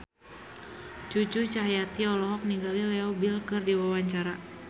Cucu Cahyati olohok ningali Leo Bill keur diwawancara